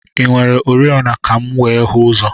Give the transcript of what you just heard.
I nwere oriọna ka m were hụ ụzọ?